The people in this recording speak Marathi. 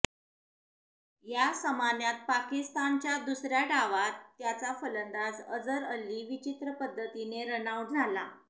या समान्यात पाकिस्तानच्या दुसऱ्या डावात त्यांचा फलंदाज अझर अली विचित्र पद्धतीने रनआउट झाला